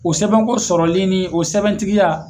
O sɛbɛnko sɔrɔlen ni o sɛbɛntigiya.